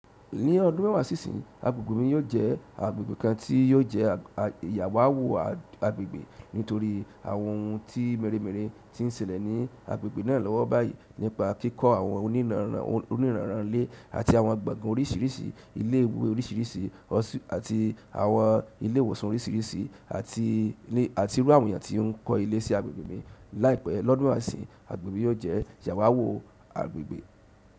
Ní ọdún mẹ́wàá sí ìsín, agbègbè mi yóò jẹ́ agbègbè kan tí yóò jẹ́ àwàwo agbègbè nítorí àwọn ohun mẹ́rẹ̀ mẹ́rẹ̀ tí ń ṣẹlẹ̀ ní agbègbè náà lọ́wọ́ báyìí nípa kíkọ́ àwọn onírànráń ilé àti àwọn gbọ̀ngán oríṣìíríṣìí, ilé ìwé oríṣìíríṣìí, àti àwọn ilé ìwòsàn oríṣìíríṣìí àti irú iyàn tí ń kọ́ ilé sí agbègbè mi. Láìpẹ́ lọ́dún mẹ́wàá sí ìsín, agbègbè yóò jẹ́ ìyàwàwù agbègbè.